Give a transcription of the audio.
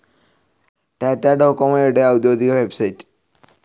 ടാറ്റ ഡോകൊമോയുടെ ഔദ്യോഗിക വെബ്സൈറ്റ്.